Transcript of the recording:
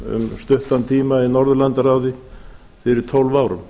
um stuttan tíma í norðurlandaráði fyrir tólf árum